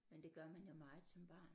Men det gør man jo meget som barn